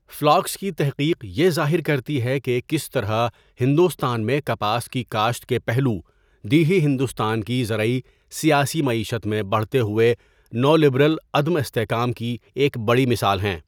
Flocks کی تحقیق یہ ظاہر کرتی ہے کہ کس طرح ہندوستان میں کپاس کی کاشت کے پہلو 'دیہی ہندوستان کی زرعی سیاسی معیشت میں بڑھتے ہوئے نو لبرل عدم استحکام' کی ایک بڑی مثال ہیں۔